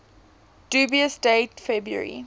dubious date february